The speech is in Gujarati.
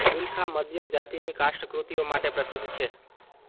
બિલખા મધ્યમ જાતિની કાષ્ઠ કૃતિઓ માટે પ્રસિદ્ધ છે